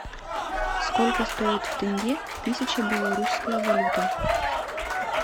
сколько стоит в тенге тысяча белорусская валюта